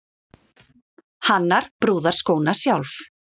Hannar brúðarskóna sjálf